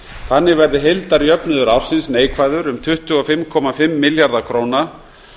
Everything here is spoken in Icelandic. þannig verði heildarjöfnuður ársins neikvæður um tvö hundruð fimmtíu og fimm milljarða króna